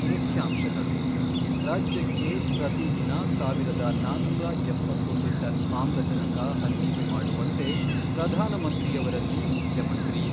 ಮುಖ್ಯಾಂಶಗಳು, ರಾಜ್ಯಕ್ಕೆ ಪ್ರತಿದಿನ ಸಾವಿರದ ನಾನೂರ ಎಪ್ಪತ್ತೊಂದು ಟನ್ ಆಮ್ಲಜನಕ ಹಂಚಿಕೆ ಮಾಡುವಂತೆ ಪ್ರಧಾನಮಂತ್ರಿಯವರಲ್ಲಿ ಮುಖ್ಯಮಂತ್ರಿ